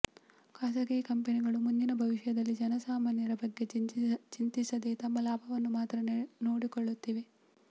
ಖಾಸಗಿ ಕಂಪನಿಗಳು ಮುಂದಿನ ಭವಿಷ್ಯದಲ್ಲಿ ಜನಸಾಮಾನ್ಯರ ಬಗ್ಗೆ ಚಿಂತಿಸದೇ ತಮ್ಮ ಲಾಭವನ್ನು ಮಾತ್ರ ನೋಡಿಕೊಳ್ಳುತ್ತಿವೆ